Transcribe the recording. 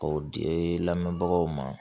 K'o di lamɛnbagaw ma